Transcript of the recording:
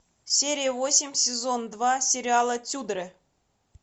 серия восемь сезон два сериала тюдоры